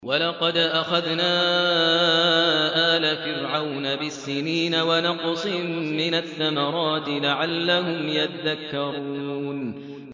وَلَقَدْ أَخَذْنَا آلَ فِرْعَوْنَ بِالسِّنِينَ وَنَقْصٍ مِّنَ الثَّمَرَاتِ لَعَلَّهُمْ يَذَّكَّرُونَ